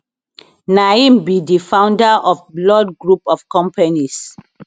na him be di founder of blord group of companies